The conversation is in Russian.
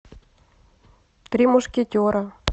три мушкетера